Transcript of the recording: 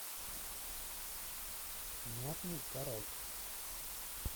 мятный карась